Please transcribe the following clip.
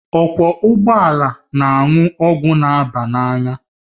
Ọkwọ ụgbọala na-aṅụ ọgwụ na aba n'anya